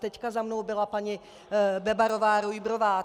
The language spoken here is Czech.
Teď za mnou byla paní Bebarová-Rujbrová.